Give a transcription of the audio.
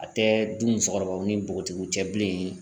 A tɛ du musokɔrɔbaw ni npogotigiw cɛ bilen